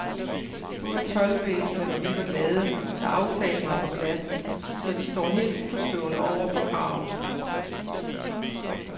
Både toldvæsenet og vi var glade, da aftalen var på plads, så vi står helt uforstående over for kravet.